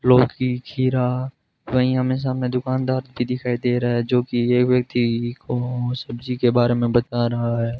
लौकी खीरा वहीं हमे सामने दुकानदार भी दिखाई दे रहा है जोकि ये यह व्यक्ति ओस सब्जी के बारे में बता रहा है।